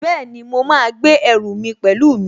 Bẹ́ẹ̀ni, mo máa gbé ẹrù mi pẹ̀lú mi